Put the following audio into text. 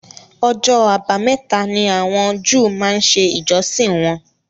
Ọjọ́ abámẹ́ta ni àwọn Júù máa ń ṣe ìjọsìn wọn